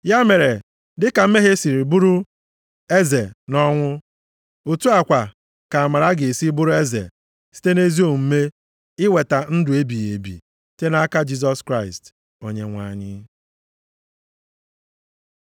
Ya mere, dịka mmehie si bụrụ eze nʼọnwụ, otu a kwa ka amara ga-esi bụrụ eze site nʼezi omume iweta ndụ ebighị ebi site nʼaka Jisọs Kraịst, Onyenwe anyị.